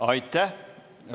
Aitäh!